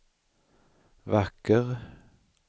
vacker